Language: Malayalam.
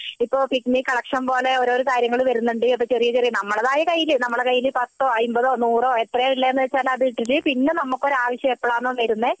ഇപ്പൊ പിഗ്മി കളക്ഷൻ പോലെ ഓരോരോ കാര്യങ്ങൾ വരുന്നുണ്ട് അപ്പൊ ചെറിയ ചെറിയ നമ്മളേതായ പത്തോ അയ്മ്പതോ നൂറോ എത്രയാ ഉള്ളതെന്ന് വച്ചാൽ അത് ഇട്ടിട്ട് പിന്നെ ഒരു ആവശ്യം നമ്മക്ക് എപ്പോഴാണോ വരുന്നേ